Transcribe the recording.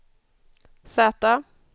Z